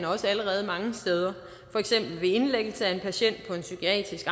også allerede mange steder for eksempel ved indlæggelse af en patient på en psykiatrisk